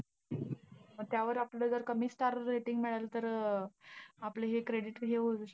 मग त्यावर आपल्याला जर कमी star rating मिळालं तर, आपलं हे credit हे होईल.